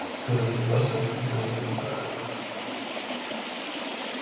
боеприпасов не отпускают